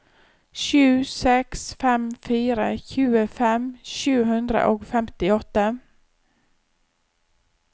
sju seks fem fire tjuefem sju hundre og femtiåtte